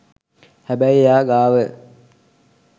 හැබැයි එයා ගාව